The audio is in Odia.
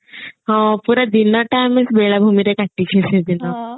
ହଁ ପୁରା ଦିନଟା ଆମେ ବେଳାଭୂମିରେ କାଟିଛେ ସେଦିନ